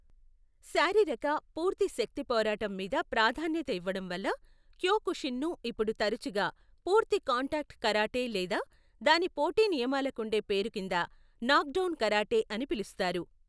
శారీరక, పూర్తి శక్తి పోరాటం మీద ప్రాధాన్యత ఇవ్వడం వల్ల, క్యోకుషిన్ను ఇప్పుడు తరచుగా పూర్తి కాంటాక్ట్ కరాటే లేదా , దాని పోటీ నియమాలకుండే పేరు కింద నాక్డౌన్ కరాటే అని పిలుస్తారు.